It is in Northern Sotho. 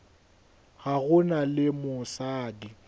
ga go na le mosadi